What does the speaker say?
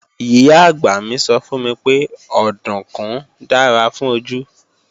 Ìyá-àgbà mi sọ fún mi pé òdùnkún dára fún ojú